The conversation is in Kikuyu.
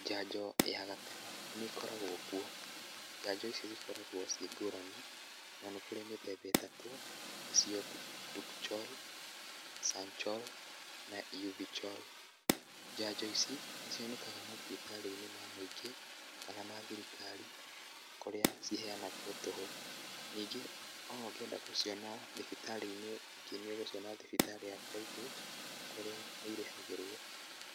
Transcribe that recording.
Njanjo ya gatemo, nĩkoragwo kuo, njanjo ici nĩikoragwo ciĩ ngũrani, na nĩkũrĩ mĩthemba ĩtatũ, nĩcio Dukoral, Sanchoral, na Euvichoral, njanjo ici, nĩcionekaga mathibitarĩ-inĩ ma mũingĩ kana ma thirikari, kũrĩa ciheanagwo tũhũ, ningĩ ona ũngĩenda gũciona thibitarĩ-inĩ ingĩ nĩũgũciona thibitarĩ ya private kũrĩa nĩirĩhagĩrwo,